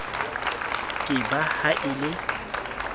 ke ba ha e le